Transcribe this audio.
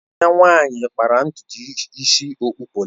Enyi ya nwanyị kpara ntutu isi okpụ polịs